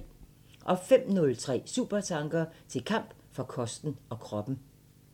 05:03: Supertanker: Til kamp for kosten og kroppen